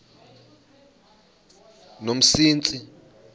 yomsintsi